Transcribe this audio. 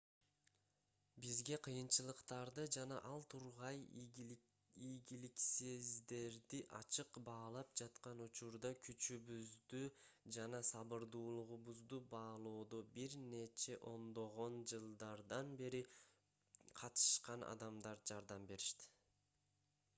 бизге кыйынчылыктарды жана ал тургай ийгиликсиздерди ачык баалап жаткан учурда күчүбүздү жана сабырдуулугубузду баалоодо бир нече ондогон жылдардан бери катышкан адамдар жардам беришти